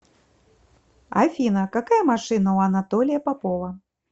афина какая машина у анатолия попова